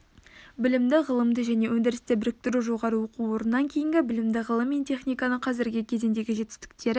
білімді ғылымды және өндірісті біріктіру жоғары оқу орнынан кейінгі білімді ғылым мен техниканың қазіргі кезеңдегі жетістіктері